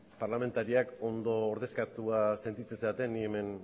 parlamentariak ondo ordezkatuak sentitzen zareten ni hemen